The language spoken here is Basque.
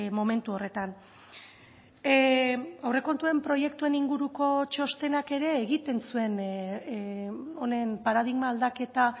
momentu horretan aurrekontuen proiektuen inguruko txostenak ere egiten zuen honen paradigma aldaketa